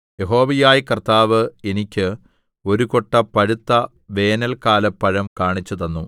യഹോവയായ കർത്താവ് എനിക്ക് ഒരു കൊട്ട പഴുത്ത വേനല്‍ക്കാലപ്പഴം കാണിച്ചുതന്നു